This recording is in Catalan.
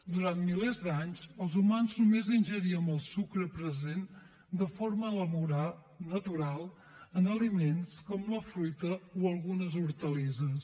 durant milers d’anys els humans només ingeríem el sucre present de forma natural en aliments com la fruita o algunes hortalisses